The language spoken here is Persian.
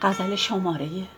سری